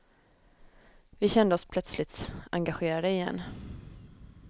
Vi kände oss plötsligt engagerade igen.